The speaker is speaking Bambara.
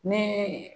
Ne